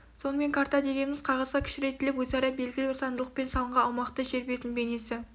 сонымен карта дегеніміз қағазға кішірейтіліп өзара белгілі бір заңдылықпен салынған аумақты жер бетінің бейнесі